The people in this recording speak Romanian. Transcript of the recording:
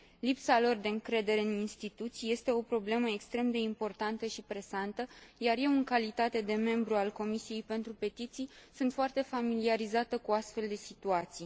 Lipsa lor de încredere în instituții este o problemă extrem de importanță și presantă, iar eu, în calitate de membru al Comisiei pentru petiții, sunt foarte familiarizată cu astfel de situații.